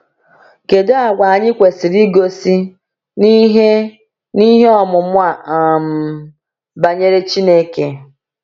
Kedu àgwà anyị kwesịrị igosi n’ihe n’ihe ọmụma um banyere Chineke?